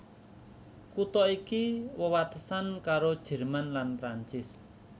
Kutha iki wewatesan karo Jerman lan Prancis